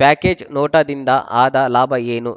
package ನೋಟಾದಿಂದ ಆದ ಲಾಭ ಏನು